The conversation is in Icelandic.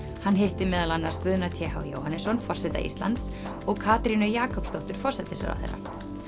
hann hitti meðal annars Guðna t h Jóhannesson forseta Íslands og Katrínu Jakobsdóttur forsætisráðherra